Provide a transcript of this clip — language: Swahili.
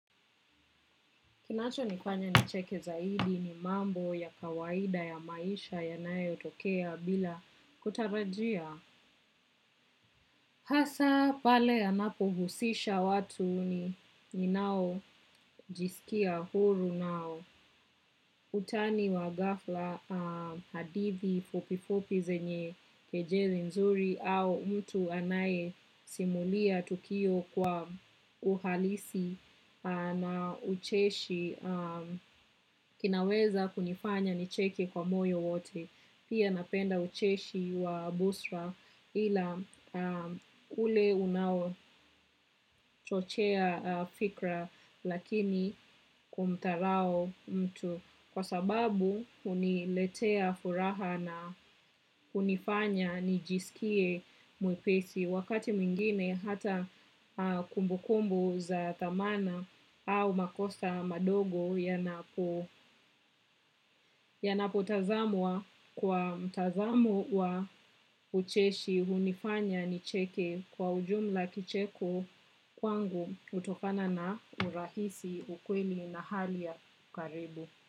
Kinacho nifanya nicheke zaidi ni mambo ya kawaida ya maisha yanayo tokea bila kutarajia. Hasa pale anapo husisha watu ni ninao jisikia huru nao. Utani wa gafla hadithi fupifupi zenye kejeli nzuri au mtu anaye simulia tukio kwa uhalisi na ucheshi kinaweza kunifanya nicheke kwa moyo wote pia napenda ucheshi wa busra ila ule unawo chochea fikra lakini kumtarao mtu kwa sababu uniletea furaha na unifanya nijisikie muipesi. Wakati mwingine hata kumbukumbu za thamana au makosa madogo yanapo yanapo tazamwa kwa mtazamo wa ucheshi hunifanya nicheke kwa ujumla kicheko kwangu utokana na urahisi ukweli na hali ya karibu.